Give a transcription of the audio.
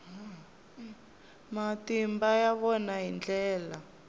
matimba ya vona hi ndlela